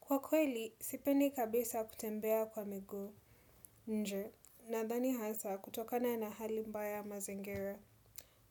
Kwa kweli, sipendi kabisa kutembea kwa miguu. Nje, nadhani hasa kutokana na hali mbaya mazingira.